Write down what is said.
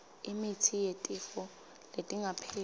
imitsi yetifo letingapheli